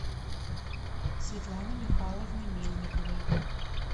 светланы михайловны мельниковой